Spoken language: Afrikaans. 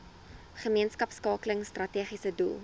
gemeenskapskakeling strategiese doel